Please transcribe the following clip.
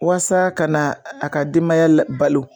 Walasa ka na a ka denbaya la balo